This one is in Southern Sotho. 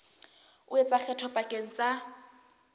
o etsa kgetho pakeng tsa